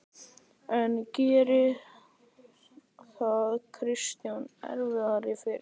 En gerði það Kristjáni erfiðara fyrir?